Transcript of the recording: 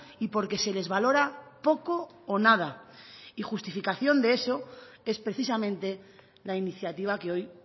y porque se les valora poco o nada y justificación de eso es precisamente la iniciativa que hoy